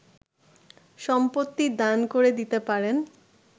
সম্পত্তি দান করে দিতে পারেন